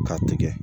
K'a tigɛ